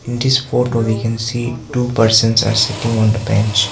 In this photo we can see two persons are sitting on the bench.